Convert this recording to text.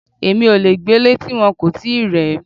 Èmi ò le gbélé ti wọn kò tíì rẹ̀ ẹ́.